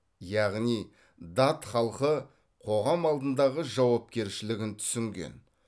яғни дат халқы қоғам алдындағы жауапкершілігін түсінген